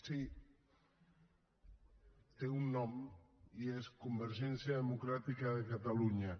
sí té un nom i és convergència democràtica de catalunya